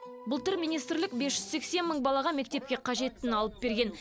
былтыр министрлік бес жүз сексен мың балаға мектепке қажеттіні алып берген